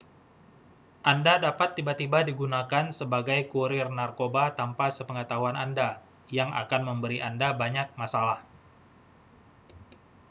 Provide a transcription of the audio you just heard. anda dapat tiba-tiba digunakan sebagai kurir narkoba tanpa sepengetahuan anda yang akan memberi anda banyak masalah